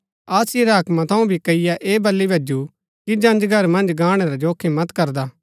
आसिया रै हाकमा थऊँ भी कईये ऐह बली भैजु कि जंजघर मन्ज गाणै रा जोखिम मत करदा